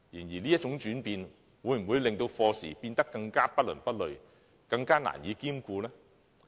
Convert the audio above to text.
然而，這種轉變會否令課程變得更不倫不類，更難以兼顧呢？